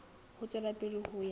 ho tswela pele ho ya